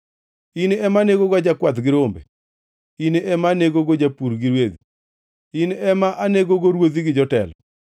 in ema anegogo jakwath gi rombe, in ema anegogo japur gi rwedhi, in ema anegogo ruodhi gi jotelo.”